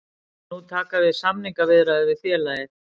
Nú taka við samningaviðræður við félagið